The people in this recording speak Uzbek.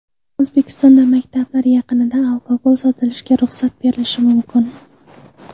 O‘zbekistonda maktablar yaqinida alkogol sotilishiga ruxsat berilishi mumkin.